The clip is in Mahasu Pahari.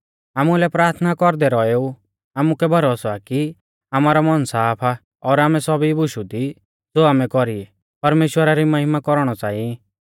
आमुलै प्राथना कौरदै रौएऊ आमुकै भरोसौ आ कि आमारौ मन साफ आ और आमै सौभी बुशु दी ज़ो आमै कौरी ई परमेश्‍वरा री महिमा कौरणौ च़ाई